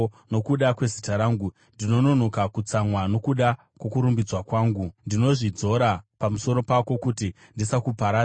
Nokuda kwezita rangu ndinononoka kutsamwa; nokuda kwokurumbidzwa kwangu ndinozvidzora pamusoro pako, kuti ndisakuparadza.